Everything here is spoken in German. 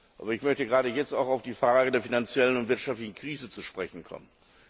Aber ich möchte gerade jetzt auch auf die Frage der finanziellen und wirtschaftlichen Krise zu sprechen kommen.